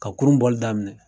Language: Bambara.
Ka kurun bɔli daminɛ.